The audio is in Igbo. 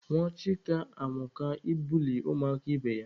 Nwa Chika amụka ịbuli ụmụaka ibe ya.